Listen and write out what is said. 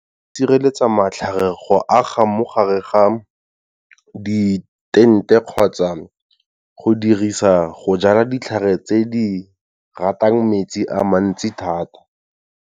Di sireletsa matlhare go aga mo gare ga di-tent-e kgotsa go dirisa go jala ditlhare tse di ratang metsi a mantsi thata.